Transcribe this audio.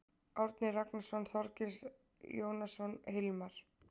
Árni Ragnarsson, Þorgils Jónasson, Hilmar